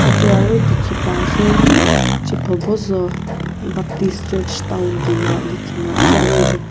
Yate aro dekhe pa ase chiephobozou baptist church town koina lekhe na ase aro yate.